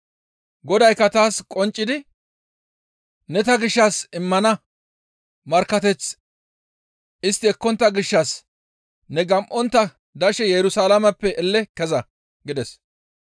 Godaykka taas qonccidi, ‹Ne ta gishshas immana markkateth istti ekkontta gishshas ne gam7ontta dashe Yerusalaameppe elela keza!› gides.